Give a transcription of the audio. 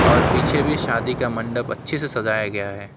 और पीछे भी शादी का मंडप अच्छे से सजाया गया है।